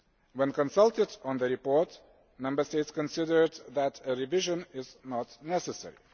When consulted on the report, Member States considered that a revision was not necessary.